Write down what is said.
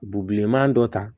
Bubilenman dɔ ta